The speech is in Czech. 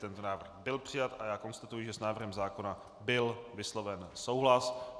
Tento návrh byl přijat a já konstatuji, že s návrhem zákona byl vysloven souhlas.